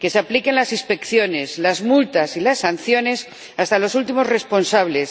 que se apliquen las inspecciones, las multas y las sanciones hasta los últimos responsables